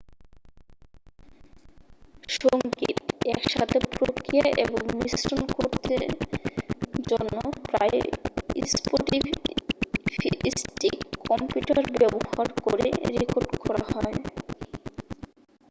সঙ্গীত একসাথে প্রক্রিয়া এবং মিশ্রণ করতে জন্য প্রায়ই স্পফিস্টিক কম্পিউটার ব্যবহার করে রেকর্ড করা হয়